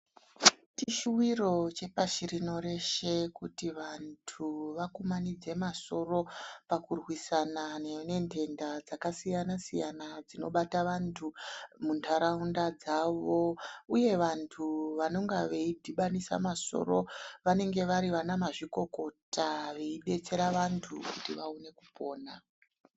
Chishuwiro chepashi rino reshe kuti vantu vakumanidze masoro pakurwisana nentenda dzaka siyana siyana dzino bata antu muntaraunda dzavo, uye vantu vanonga veidhibanise masoro vanenge vari ana mazvikokota veidetsera vantu kuti vawone kupona.